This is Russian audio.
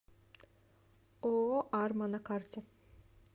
ооо арма на карте